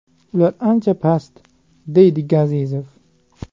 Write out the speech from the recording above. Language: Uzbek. Ular ancha past”, deydi Gazizov.